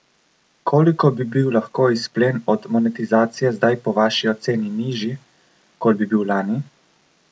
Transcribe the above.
Koliko bi bil lahko izplen od monetizacije zdaj po vaši oceni nižji, kot bi bil lani?